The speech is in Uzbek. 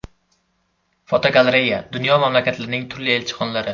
Fotogalereya: Dunyo mamlakatlarining turli elchixonalari.